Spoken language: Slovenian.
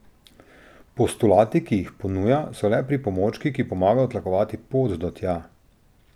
Postulati, ki jih ponuja, so le pripomočki, ki pomagajo tlakovati pot do tja.